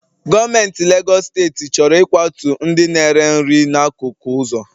Gọọmentị Legọs steeti chọrọ ịkwatu ndị na-ere nri n'akụkụ ụzọ